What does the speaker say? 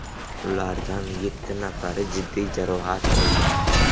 Ulardan yetti nafari jiddiy jarohat olgan.